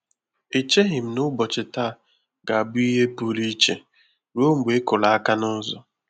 Echeghị m na ụbọchị taa ga-abụ ihe pụrụ iche, ruo mgbe ịkụrụ aka n'ụzọ